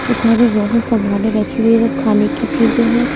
दुकान में बहुत सामाने रखी हुए सब खाने की चीजें हैं।